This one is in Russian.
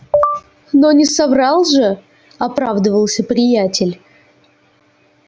но не соврал же оправдывался приятель